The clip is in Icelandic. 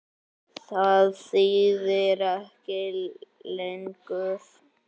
Það þýðir ekki lengur.